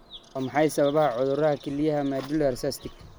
Maxaa sababa cudurka kelyaha medullary cystic?